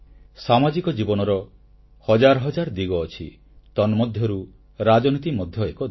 ସାମାଜିକ ଜୀବନର ହଜାର ହଜାର ଦିଗ ଅଛି ତନ୍ମଧ୍ୟରୁ ରାଜନୀତି ମଧ୍ୟ ଏକ ଦିଗ